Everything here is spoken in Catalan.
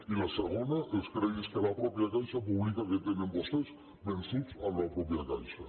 i la segona els crèdits que la mateixa caixa publica que tenen vostès vençuts amb la mateixa caixa